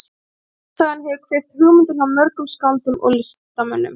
Þjóðsagan hefur kveikt hugmyndir hjá mörgum skáldum og listamönnum.